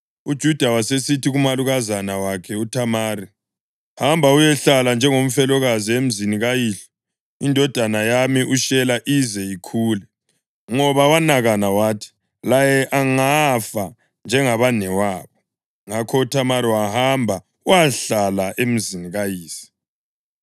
UJuda wasesithi kumalukazana wakhe uThamari, “Hamba uyehlala njengomfelokazi emzini kayihlo indodana yami uShela ize ikhule.” Ngoba wanakana wathi, “Laye angafa njengabanewabo.” Ngakho uThamari wahamba wayahlala emzini kayise.